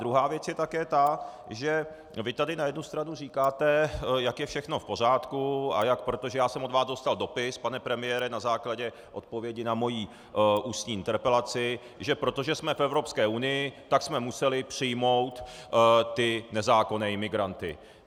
Druhá věc je také ta, že vy tady na jednu stranu říkáte, jak je všechno v pořádku a jak - protože já jsem od vás dostal dopis, pane premiére, na základě odpovědi na moji ústní interpelaci, že protože jsme v Evropské unii, tak jsme museli přijmout ty nezákonné imigranty.